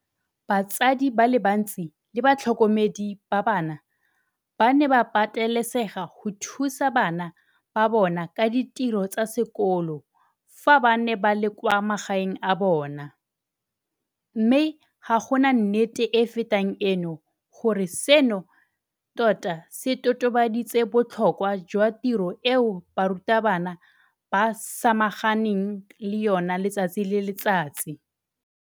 Batsadi ba le bantsi le batlhokomedi ba bana ba ne ba patelesega go thusa bana ba bona ka ditiro tsa sekolo fa ba ne ba le kwa magaeng a bona, mme ga gona nnete e e fetang eno gore seno tota se totobaditse botlhokwa jwa tiro eo barutabana ba samaganang le yona letsatsi le letsatsi.